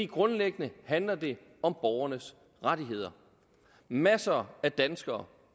grundlæggende handler det om borgernes rettigheder masser af danskere